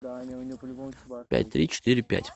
пять три четыре пять